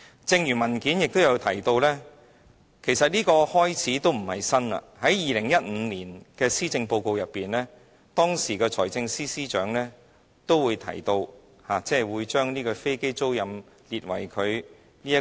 正如文件提到，其實這並不是甚麼新開始，在2015年施政報告中，當時的財政司司長提到，會有特別措施推動飛機租賃業務。